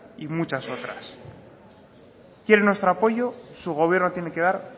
y muchas otras si quieren nuestro apoyo su gobierno tiene que dar